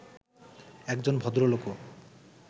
একজন ভদ্রলোকও